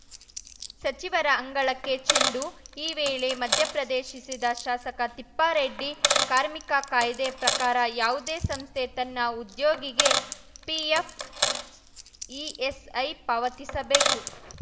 ಸಚಿವರ ಅಂಗಳಕ್ಕೆ ಚೆಂಡು ಈ ವೇಳೆ ಮಧ್ಯಪ್ರದೇಶಿಸಿದ ಶಾಸಕ ತಿಪ್ಪಾರೆಡ್ಡಿ ಕಾರ್ಮಿಕ ಕಾಯ್ದೆ ಪ್ರಕಾರ ಯಾವುದೇ ಸಂಸ್ಥೆ ತನ್ನ ಉದ್ಯೋಗಿಗೆ ಪಿಎಫ್‌ ಇಎಸ್‌ಐ ಪಾವತಿಸಬೇಕು